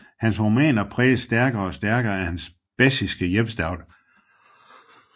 Hans romaner præges stærkere og stærkere af hans baskiske hjemstavn